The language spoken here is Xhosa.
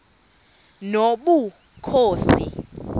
nobukhosi